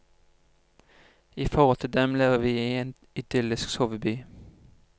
I forhold til dem lever vi i en idyllisk soveby.